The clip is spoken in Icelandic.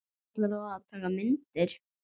Ætlar þú að taka myndir?